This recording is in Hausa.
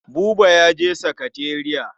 Buba ya je sakatariya.